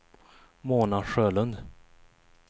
Mona Sjölund